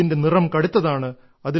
ഇതിന്റെ നിറം കടുത്തതാണ്